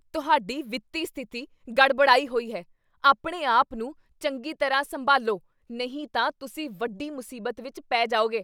ਤੁਹਾਡੀ ਵਿੱਤੀ ਸਥਿਤੀ ਗੜਬੜਾਈ ਹੋਈ ਹੈ! ਆਪਣੇ ਆਪ ਨੂੰ ਚੰਗੀ ਤਰ੍ਹਾਂ ਸੰਭਾਲਵੋ ਨਹੀਂ ਤਾਂ ਤੁਸੀਂ ਵੱਡੀ ਮੁਸੀਬਤ ਵਿੱਚ ਪੈ ਜਾਵੋਗੇ